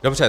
Dobře.